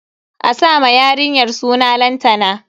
A sa ma yarinyar suna Lantana.